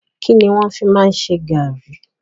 Kínní wọn fi máa ń ṣe garri?